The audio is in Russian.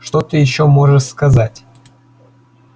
что ты ещё можешь сказать